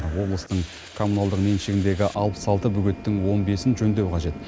облыстың коммуналдық меншігіндегі алпыс алты бөгеттің он бесін жөндеу қажет